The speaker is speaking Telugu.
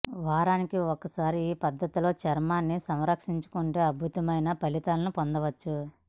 వారానికి ఒకసారి ఈ పద్దతిలో చర్మాన్ని సంరక్షించుకుంటే అద్భుతమైన ఫలితాలను పొందవచ్చు